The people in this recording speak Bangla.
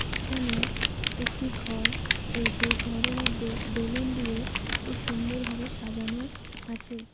এখানে একটি ঘর রয়েছে এই ঘরের মধ্যে বেলুন দিয়ে খুব সুন্দর ভাবে সাজানো আছে।